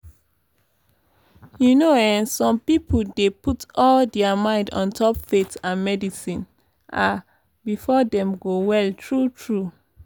you know eh some pipo dey put all dia mind ontop faith and medicine ah befor dem go well tru tru?